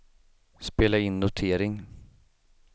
spela in notering